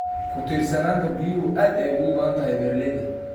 Ku tiirsanaanta biyuhu aad ayay ugu badan tahay beeralayda.